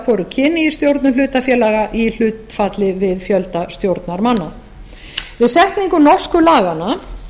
hvoru kyni í stjórnum hlutafélaga í hlutfalli við fjölda stjórnarmanna við setningu norsku laganna